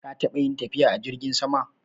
Ka taɓa yin tafiya a jirgin sama.